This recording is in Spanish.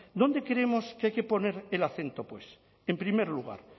dónde creemos que hay que poner el acento pues en primer lugar